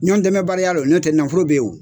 Ɲɔndɛmɛbaliya don n'o tɛ nafolo be yen o